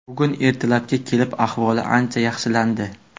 Bugun ertalabga kelib ahvoli ancha yaxshilandi.